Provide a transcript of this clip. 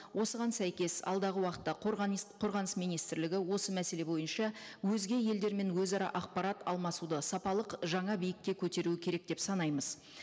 осыған сәйкес алдағы уақытта қорғаныс министрлігі осы мәселе бойынша өзге елдермен өзара ақпарат алмасуды сапалық жаңа биікке көтеруі керек деп санаймыз